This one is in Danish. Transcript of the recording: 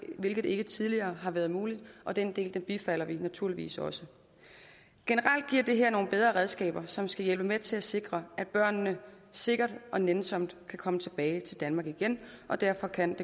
hvilket ikke tidligere har været muligt og den del bifalder vi naturligvis også generelt giver det her nogle bedre redskaber som skal hjælpe med til at sikre at børnene sikkert og nænsomt kan komme tilbage til danmark igen derfor kan